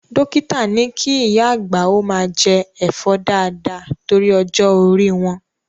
Dókítà ni kí ìyá àgbà ó máa jẹ Ẹ̀fọ́ dáàda torí ọjọ́ orí wọn.